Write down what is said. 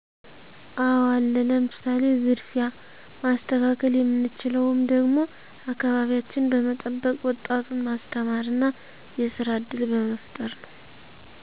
አወ አለ ለምሳሌ፦ ዝርፊያ ማስተካከል የምንችለውም ደግሞ አከባቢያችን በመጠበቅ ወጣቱን ማስተማር እና የስራ እድል በመፍጠር ነው